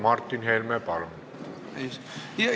Martin Helme, palun!